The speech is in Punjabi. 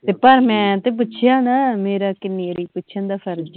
ਪਰ ਮੈਂ ਤੇ ਪੁੱਛਿਆ ਨਾ ਮੇਰਾ ਕਿੰਨੀ ਵਾਰੀ ਪੁੱਛਣ ਦਾ ਫਰਜ ਹੀ